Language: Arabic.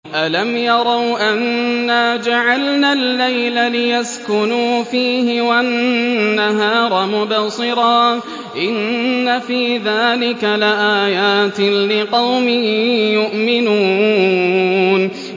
أَلَمْ يَرَوْا أَنَّا جَعَلْنَا اللَّيْلَ لِيَسْكُنُوا فِيهِ وَالنَّهَارَ مُبْصِرًا ۚ إِنَّ فِي ذَٰلِكَ لَآيَاتٍ لِّقَوْمٍ يُؤْمِنُونَ